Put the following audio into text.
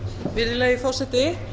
virðulegi forseti